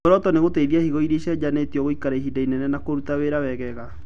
Muoroto nĩ gũteithia higo irĩa icenjanĩtio gũikara ihinda inene na kũruta wĩra wegega